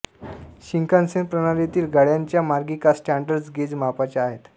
Shinkansen प्रणालीतील गाड्यांच्या मार्गिका स्टॅण्डर्ड गेज मापाच्या आहेत